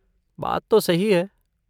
बात तो सही है।